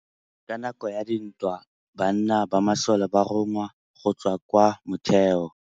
Ka nakô ya dintwa banna ba masole ba rongwa go tswa kwa mothêô.